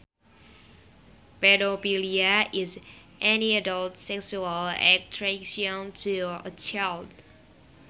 Pedophilia is any adult sexual attraction to a child